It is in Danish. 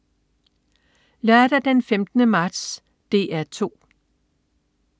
Lørdag den 15. marts - DR 2: